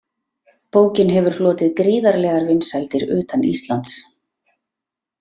Bókin hefur hlotið gríðarlegar vinsældir utan Íslands.